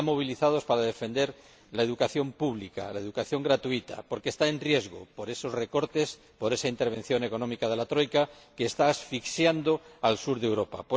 Están movilizados para defender la educación pública, la educación gratuita, porque está en riesgo por esos recortes, por esa intervención económica de la troika, que está asfixiando al sur de Europa.